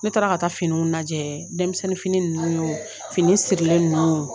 Ne taara ka taa finiw lajɛ denmisɛnni ninnu yo fini sirilen ninnu o